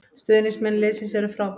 Stuðningsmenn liðsins eru frábær